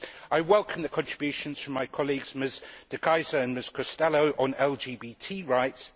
I welcome the contributions from my colleagues Ms De Keyser and Ms Costello on LGBT rights.